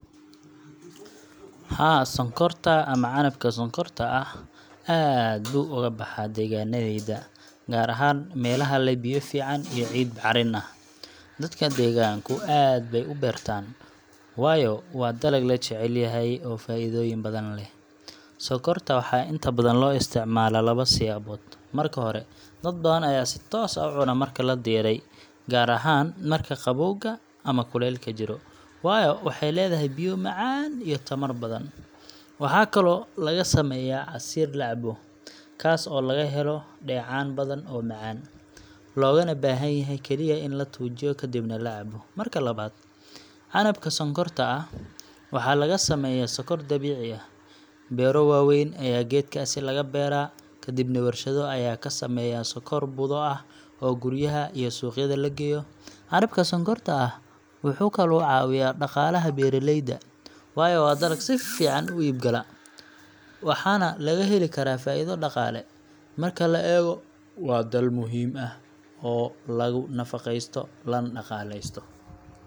Haa, sonkorta ama canabka sonkorta ah aad buu uga baxaa deegaannadayada, gaar ahaan meelaha leh biyo fiican iyo ciid bacrin ah. Dadka deegaanku aad bay u beertaan, waayo waa dalag la jecel yahay, oo faa’iidooyin badan leh. Sonkorta waxaa inta badan loo isticmaalaa labo siyaabood. Marka hore, dad badan ayaa si toos ah u cuna marka la diiray, gaar ahaan marka qabowga ama kulaylka jiro, waayo waxay leedahay biyo macaan iyo tamar badan. Waxaa kaloo laga sameeyaa casiir la cabo, kaas oo laga helo dheecaan badan oo macaan, loogana baahan yahay kaliya in la tuujiyo kadibna la cabbo. Marka labaad, canabka sonkorta ah waxaa laga sameeyaa sonkor dabiici ah. Beero waaweyn ayaa geedkaasi laga beeraa, kadibna warshado ayaa ka sameeya sonkor budo ah oo guryaha iyo suuqyada la geeyo. Canabka sonkorta ah wuxuu kaloo caawiyaa dhaqaalaha beeraleyda, waayo waa dalag si fiican u iib-gala, waxaana laga heli karaa faa’iido dhaqaale. Marka la eego, waa dal muhiim ah oo lagu nafaqeysto, lana dhaqaaleysto.